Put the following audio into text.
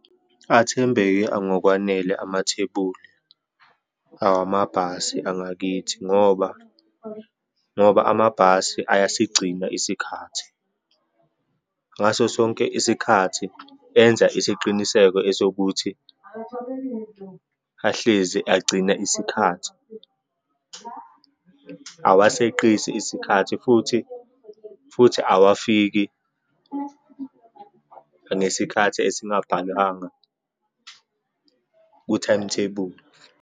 Athembeke angokwanele amathebuli awamabhasi angakithi, ngoba, ngoba amabhasi ayasigcina isikhathi. Ngaso sonke isikhathi enza isiqiniseko esokuthi ahlezi agcina isikhathi, awaseqisi isikhathi, futhi, futhi awafiki ngesikhathi esingabhalwanga ku-timetable.